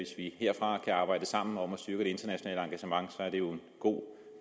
vi herfra kan arbejde sammen om at styrke det internationale engagement er det jo en god